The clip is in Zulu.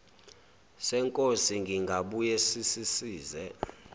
senkosi singabuye sisize